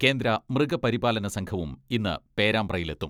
കേന്ദ്ര മൃഗപരിപാലന സംഘവും ഇന്ന് പേരാമ്പ്രയിലെത്തും.